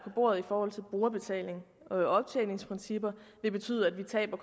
bordet i forhold til brugerbetaling og optjeningsprincip vil betyde at vi taber